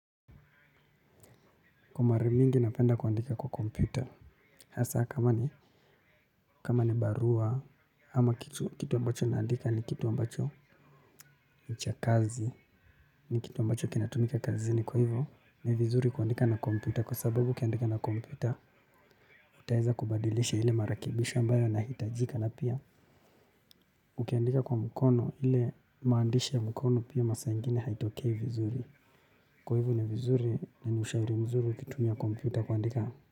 Kwa mara mingi napenda kuandika kwa kompyuta. Hasa kama ni kama ni barua ama kitu kitu ambacho naandika ni kitu ambacho nichakazi ni kitu ambacho kinatumika kazini. Kwa hivo ni vizuri kuandika na kompyuta kwa sababu ukiandika na kompyuta utaweza kubadilisha ile marekebisho ambayo yanahitajika na pia. Ukiandika kwa mkono ile maandishi ya mkono pia masaa ingine haitokei vizuri. Kwa hivo ni vizuri na ni ushauri mzuri ukitumia kompyuta kuandika.